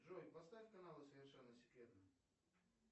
джой поставь канал совершенно секретно